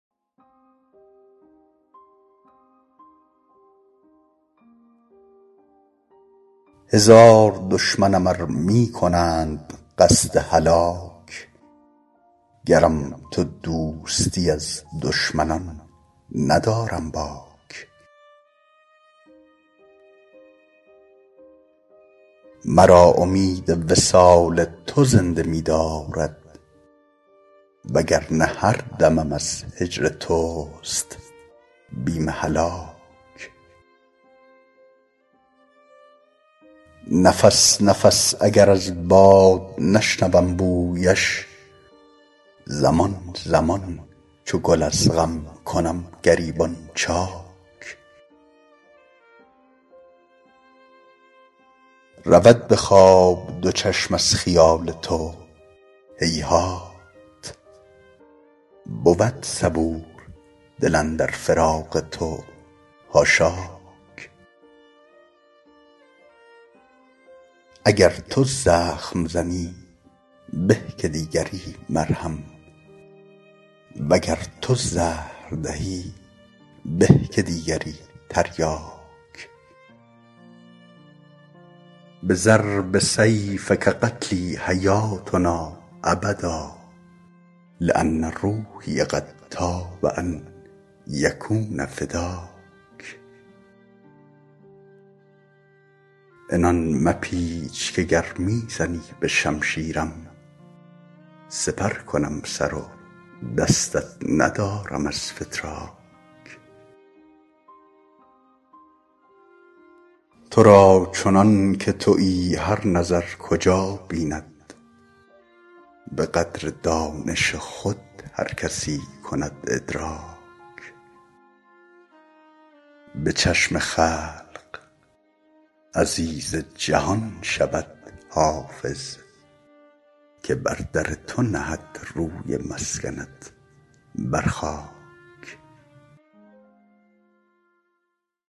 هزار دشمنم ار می کنند قصد هلاک گرم تو دوستی از دشمنان ندارم باک مرا امید وصال تو زنده می دارد و گر نه هر دمم از هجر توست بیم هلاک نفس نفس اگر از باد نشنوم بویش زمان زمان چو گل از غم کنم گریبان چاک رود به خواب دو چشم از خیال تو هیهات بود صبور دل اندر فراق تو حاشاک اگر تو زخم زنی به که دیگری مرهم و گر تو زهر دهی به که دیگری تریاک بضرب سیفک قتلی حیاتنا ابدا لأن روحی قد طاب ان یکون فداک عنان مپیچ که گر می زنی به شمشیرم سپر کنم سر و دستت ندارم از فتراک تو را چنان که تویی هر نظر کجا بیند به قدر دانش خود هر کسی کند ادراک به چشم خلق عزیز جهان شود حافظ که بر در تو نهد روی مسکنت بر خاک